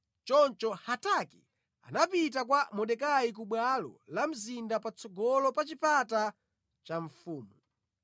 Choncho Hataki anapita kwa Mordekai ku bwalo la mzinda patsogolo pa chipata cha mfumu.